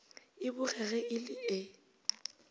e bogege e le e